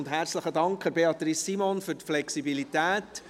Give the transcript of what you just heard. Und herzlichen Dank an Beatrice Simon für die Flexibilität.